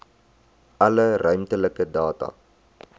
alle ruimtelike data